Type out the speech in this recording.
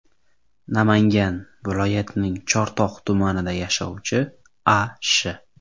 Namangan viloyatining Chortoq tumanida yashovchi A. Sh.